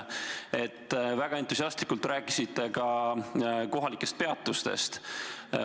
Te rääkisite väga entusiastlikult kohalikest peatustest.